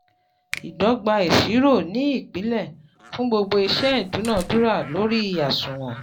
ìdọ́gba ìṣirò ni ìpìlè fún gbogbo iṣẹ́ ìdúnadúrà lórí àṣùwọ̀n